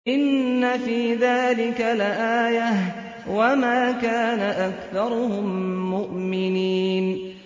إِنَّ فِي ذَٰلِكَ لَآيَةً ۖ وَمَا كَانَ أَكْثَرُهُم مُّؤْمِنِينَ